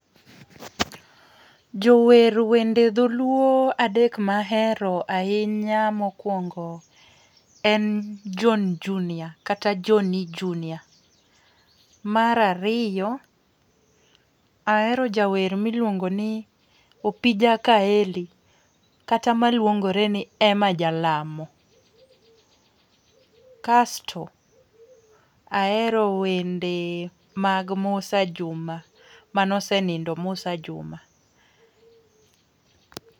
Jower wende dholuo adek mahero ahinya. Mokwongo en John Junior kata Johny Junior. Mar ariyo ahero jawer miluongo ni Opija Kaeli kata maluongore ni Emma Jalamo. Kasto ahero wende mag Mussa Juma manosenindo Mussa Juma.